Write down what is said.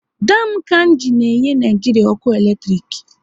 Dam Kainji na enye Naijiria ọkụ eletrik